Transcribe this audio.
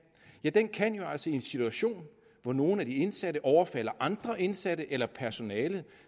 ja den kan jo altså i en situation hvor nogle af de indsatte overfalder andre indsatte eller personale